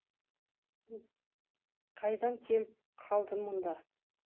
бұл қайдан келіп қалды мұнда